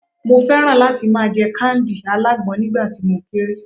mo fẹràn láti ma je kándì alágbọn nígbà tí mo kere